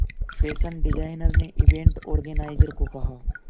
fashion designer ने event organiser को कहा